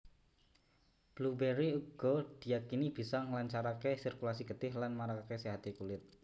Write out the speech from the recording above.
Blueberry uga diyakini bisa nglancarake sirkulasi getih lan marakake séhate kulit